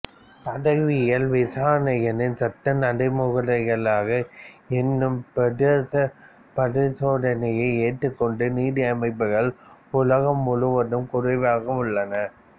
தடயவியல் விசாரணைகளின் சட்ட நடைமுறைகளாக எண்ணிம பிரேதப் பரிசோதனையை ஏற்றுக்கொண்ட நீதி அமைப்புகள் உலகம் முழுவதும் குறைவாகவே உள்ளன